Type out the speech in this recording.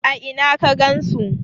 a Ina ka gansu?